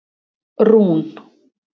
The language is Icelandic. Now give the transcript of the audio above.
Rún